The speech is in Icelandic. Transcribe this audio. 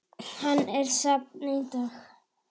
Hann er safn í dag.